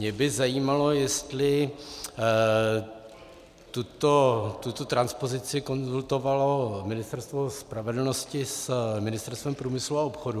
Mě by zajímalo, jestli tuto transpozici konzultovalo Ministerstvo spravedlnosti s Ministerstvem průmyslu a obchodu.